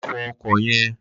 Lo̩ fo̩ o̩kò̩ ye̩n!